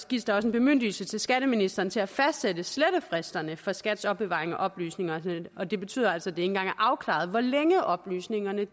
gives der også en bemyndigelse til skatteministeren til at fastsætte slettefristerne for skats opbevaring af oplysningerne og det betyder altså at det ikke engang er afklaret hvor længe oplysningerne